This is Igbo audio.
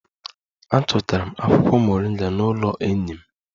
Achọtara m akwụkwọ moringa n'ụlọ enyi m